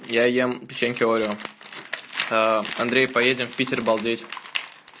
я ем печеньки орио андрей поедем в питер балдеть